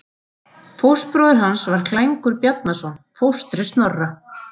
Fóstbróðir hans var Klængur Bjarnason, fóstri Snorra.